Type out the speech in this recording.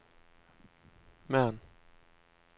Mern